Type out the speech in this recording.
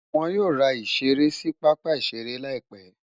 Wọ́n yóò ra ìṣeré sí pápá-ìṣeré láìpé.